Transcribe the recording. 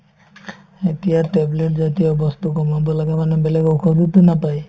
এতিয়া tablet জাতীয় বস্তু কমাব লাগে মানে বেলেগ ঔষধতো নাপায়